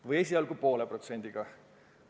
Või esialgu poole protsendiga?